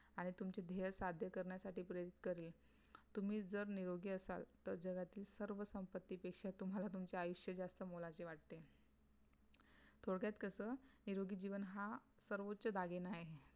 आणि तुम्ही निरोग्यी असतात टार सर्व सम्पधि तुमचिया कड़े आहे